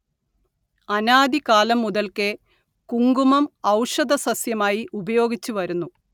അനാദി കാലം മുതൽക്കേ കുങ്കുമം ഔഷധസസ്യമായി ഉപയോഗിച്ചുവരുന്നു